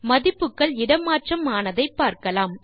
மதிப்புகள் இட மாற்றம் ஆனதை பார்க்கலாம்